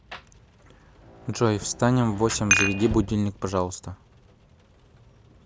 джой встанем в восемь заведи будильник пожалуйста